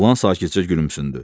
Oğlan sakitcə gülümsündü.